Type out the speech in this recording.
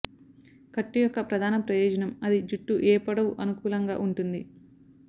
కట్టు యొక్క ప్రధాన ప్రయోజనం అది జుట్టు ఏ పొడవు అనుకూలంగా ఉంటుంది